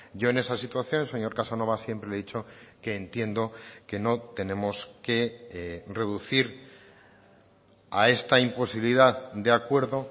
yo en esa situación señor casanova siempre le he dicho que entiendo que no tenemos que reducir a esta imposibilidad de acuerdo